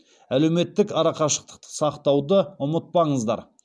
әлеуметтік арақашықтықты сақтауды ұмытпаңыздар